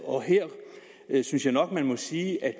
her synes jeg nok man må sige at